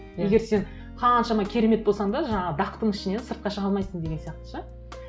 иә егер сен қаншама керемет болсаң да жаңағы дақтың ішінен сыртқа шыға алмайсың деген сияқты ше